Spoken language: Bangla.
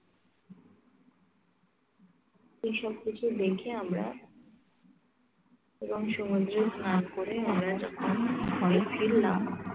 তো সবকিছু দেখে আমরা এবং সমুদ্রের পার করে আমরা যখন ঘরে ফিরলাম